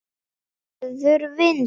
Verður vindur.